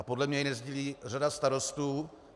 A podle mě to nesdílí řada starostů.